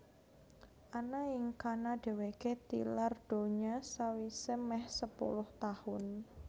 Ana ing kana dhèwèké tilar donya sawisé mèh sepuluh taun